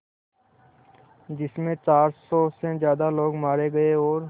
जिस में चार सौ से ज़्यादा लोग मारे गए और